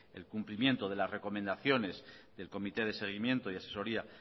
el cumplimiento de la recomendaciones del comité de seguimiento y asesoría